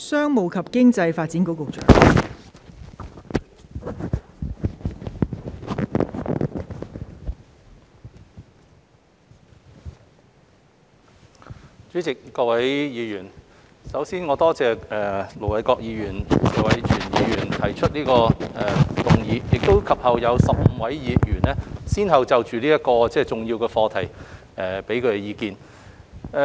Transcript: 代理主席、各位議員，首先，我感謝盧偉國議員和謝偉銓議員提出動議，以及15位議員先後就這個重要的課題發表意見。